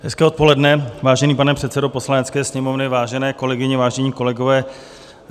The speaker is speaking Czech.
Hezké odpoledne, vážený pane předsedo Poslanecké sněmovny, vážené kolegyně, vážení kolegové.